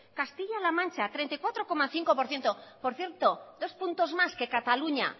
castilla la mancha treinta y cuatro coma cinco por ciento por cierto dos puntos más que cataluña